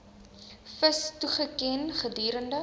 vis toegeken gedurende